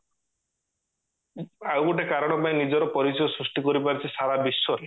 ଆଉ ଗୋଟେ କାରଣ ପାଇଁ ନିଜର ପରିଚୟ ସୃଷ୍ଟି କରିପାରିଛି ସାରା ବିଶ୍ଵ ରେ